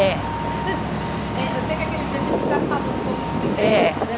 É. Eh, eu sei que aquele dia a gente já falou um pouco do